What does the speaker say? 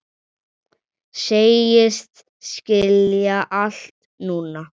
Segist skilja allt núna.